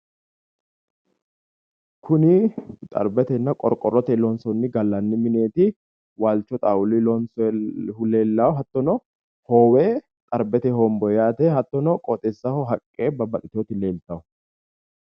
Kuni xarbetenna qorqorroteyi loonsoonni gallanni mineeti waalcho xaawuluyi loonsooyihu leella hattono hoowe xarbete homboyi yaate hattono qooxeessaho haqqe babbaxxiteyoti leelta.